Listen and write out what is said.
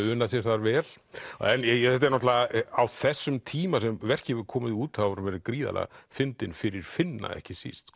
unað sér þar vel en þetta er náttúrulega á þessum tíma sem verkið hefur komið út hefur hún verið gríðarlega fyndin fyrir Finna ekki síst